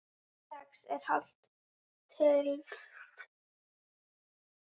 Sex er hálf tylft.